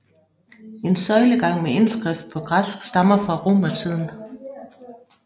En søjlegang med indskrift på græsk stammer fra romertiden